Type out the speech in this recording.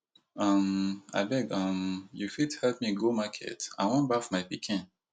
um abeg um you go fit help me go market i wan baff my pikin